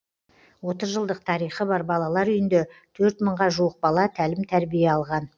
отыз жылдық тарихы бар балалар үйінде төрт мыңға жуық бала тәлім тәрбие алған